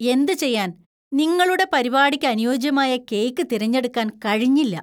എന്തു ചെയ്യാന്‍! നിങ്ങളുടെ പരിപാടിക്ക് അനുയോജ്യമായ കേക്ക് തിരഞ്ഞെടുക്കാൻ കഴിഞ്ഞില്ല.